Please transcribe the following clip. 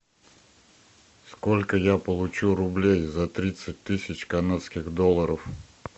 сколько я получу рублей за тридцать тысяч канадских долларов